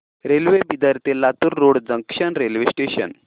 railway Bidar ते Latur road junction railway station